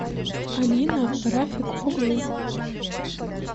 алина рафик оглы